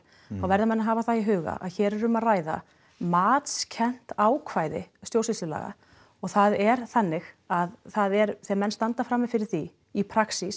þá verða menn að hafa það í huga að hér er um að ræða matskennt ákvæði stjórnsýslulaga og það er þannig að það er þegar menn standa frammi fyrir því í